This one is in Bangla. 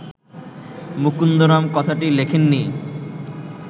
মুকুন্দরাম কথাটি লেখেননি